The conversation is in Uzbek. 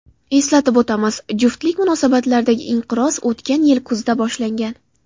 Eslatib o‘tamiz, juftlik munosabatlaridagi inqiroz o‘tgan yil kuzida boshlangan.